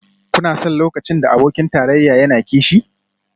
Kuna son lokacin da abokin tarayya yana kishi?